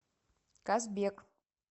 казбек